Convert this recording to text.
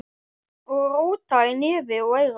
Og róta í nefi og eyrum.